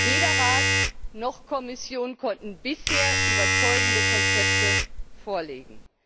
Weder Rat noch Kommission konnten bisher überzeugende Konzepte vorlegen.